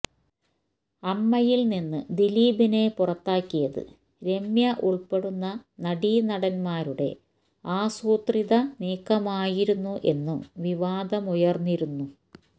അമ്മയില് നിന്ന് ദിലീപിനെ പുറത്താക്കിയത് രമ്യ ഉള്പ്പെടുന്ന നടീനടന്മാരുടെ ആസൂത്രിത നീക്കമായിരുന്നു എന്നും വിവാദമുയര്ന്നിരുന്നു